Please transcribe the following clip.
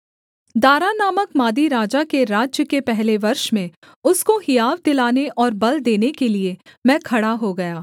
दारा नामक मादी राजा के राज्य के पहले वर्ष में उसको हियाव दिलाने और बल देने के लिये मैं खड़ा हो गया